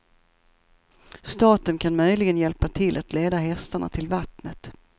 Staten kan möjligen hjälpa till att leda hästarna till vattnet.